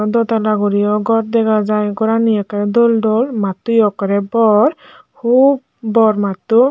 do tala guriyo gor degajai goraniyo okkorey dol dol matoyo okkorey bor hup bor matto.